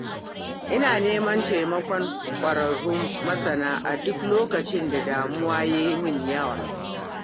Ina neman taimakon kwararrun masana a duk lokacin da damuwa ya yi min yawa